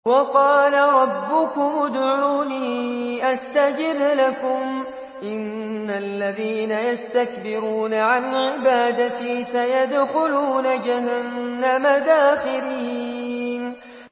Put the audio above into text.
وَقَالَ رَبُّكُمُ ادْعُونِي أَسْتَجِبْ لَكُمْ ۚ إِنَّ الَّذِينَ يَسْتَكْبِرُونَ عَنْ عِبَادَتِي سَيَدْخُلُونَ جَهَنَّمَ دَاخِرِينَ